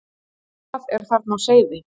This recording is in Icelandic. En hvað er þarna á seyði?